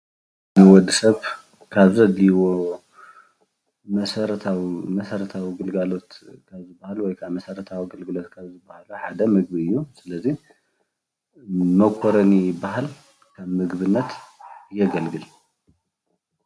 ንወድሰብ ካብ ዘድልይዎ መሠረታዊ መሰረታዊ ግልጋሎት ካብ ዝባሃሉ ወይ ክዓ መሰረታዊ ግልጋሎት ሓደ ምግቢ እዩ። ስለዚ መኮረኒ ይበሃል ከም ምግብነት የገልግል።